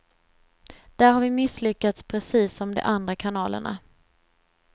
Där har vi misslyckats precis som de andra kanalerna.